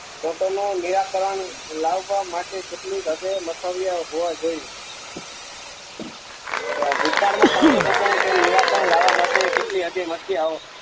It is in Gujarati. નું નિરાકરણ લાવવા માટે કેટલી હદે મૌક્મીયા હોવા જોઈ ભૂતકાળ માં સંશોધકનું તેમ નિરાકરણ લાવવા માટે કેટલી હદે મથીયા હો